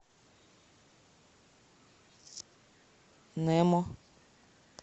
немо